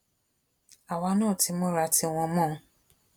àwa náà ti múra tiwọn mọ ọn